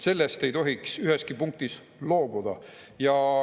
Sellest ei tohiks üheski punktis loobuda.